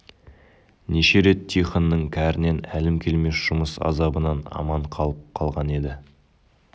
неше рет тихонның кәрінен әлім келмес жұмыс азабынан аман қалып қалған еді